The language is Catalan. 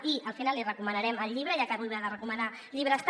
i al final li recomanarem el llibre ja que avui va de recomanar llibres també